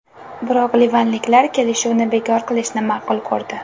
Biroq livanliklar kelishuvni bekor qilishni ma’qul ko‘rdi.